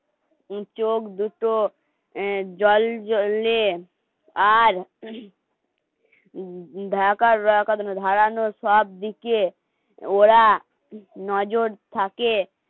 চোখ দুটো অ্যা জল জ্বললে আর উম ঢাকার ধারানো সব দিকে ওরা নজর থাকে